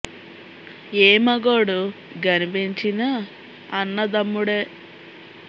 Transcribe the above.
యే మగోడు గనిపించినా అన్నదమ్ముడే